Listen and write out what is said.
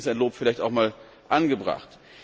Deswegen ist ein Lob vielleicht auch einmal angebracht.